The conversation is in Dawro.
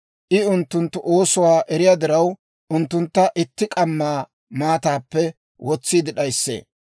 I unttunttu oosuwaa eriyaa diraw, unttuntta itti k'amma maataappe wotsiide d'ayissee.